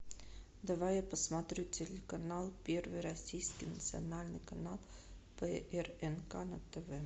давай я посмотрю телеканал первый российский национальный канал прнк на тв